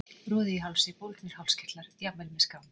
Roði í hálsi, bólgnir hálskirtlar, jafnvel með skán.